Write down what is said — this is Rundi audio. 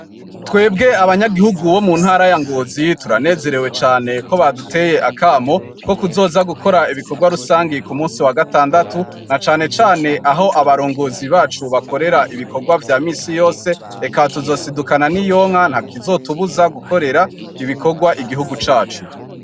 Twebwe abanyagihugu bo mu ntara ya ngozi yitura nezerewe cane ko baduteye akamo ko kuzoza gukora ibikorwa rusangi ku munsi wa gatandatu na cane cane aho abarongozi bacu bakorera ibikorwa vya misi yose eka tuzosidukana n'iyonka nta kizotubuza gukorera ibikorwa igihugu cacu.